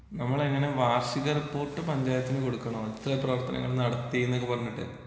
നമ്മൾ എങ്ങനെ വാർഷിക റിപ്പോര്‍ട്ട് പഞ്ചായത്തിന് കൊടുക്കണോ ഇത്രേ പ്രവർത്തനങ്ങളൊക്കെ നടത്തീന്നൊക്കെ പറഞ്ഞിട്ട്?